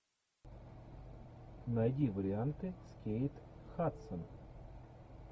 найди варианты с кейт хадсон